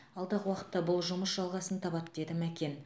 алдағы уақытта бұл жұмыс жалғасын табады деді мәкен